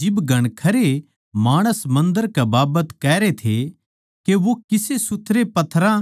जिब घणखरे माणस मन्दर कै बाबत कहरे थे के वो किसे सुथरे पत्थरां